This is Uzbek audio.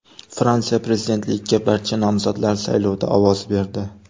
Fransiya prezidentligiga barcha nomzodlar saylovda ovoz berdi.